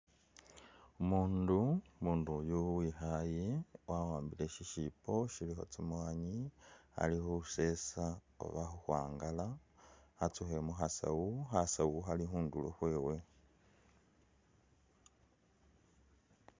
Umundu, umundu yu wikhaaye wawambile shishipo shilikho tsinyanye ali khusesa oba khukhwangala atsukhe mukhasaawu, khasaawu khali khundulo khwewe.